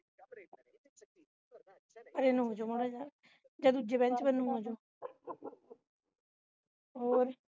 ਭਰੇ ਨੂੰ ਹੋਰ ਮਾੜਾ ਜਿਹਾ ਯਾ ਦੂਜਾ bench ਨੂੰ ਆਜਾ ਹੋਰ